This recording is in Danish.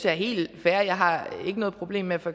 er helt fair jeg har ikke noget problem med at for